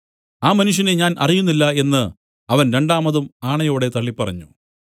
ആ മനുഷ്യനെ ഞാൻ അറിയുന്നില്ല എന്നു അവൻ രണ്ടാമതും ആണയോടെ തള്ളിപ്പറഞ്ഞു